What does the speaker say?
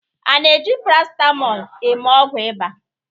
a na-eji paracetamol mee ọgwụ ịba?